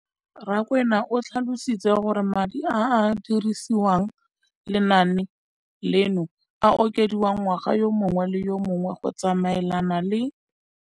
Rakwena o tlhalositse gore madi a a dirisediwang lenaane leno a okediwa ngwaga yo mongwe le yo mongwe go tsamaelana le